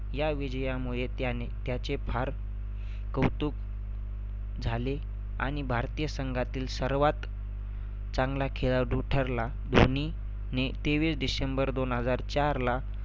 या विजयामुळे त्याने त्याचे फार कौतुक झाले आणि भारतीय संघातील सर्वात चांगला खेळाडू ठरला. धोनीने तेवीस डिसेंबर दोन हजार चारला